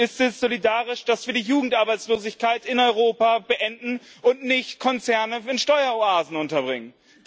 Und ist es solidarisch, dass wir die Jugendarbeitslosigkeit in Europa beenden und nicht Konzerne in Steueroasen unterbringen?